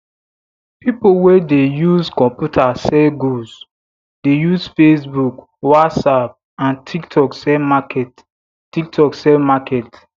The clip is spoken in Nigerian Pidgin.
pipo wey dey use computer sell goods dey use facebook whatsapp and tiktok sell market tiktok sell market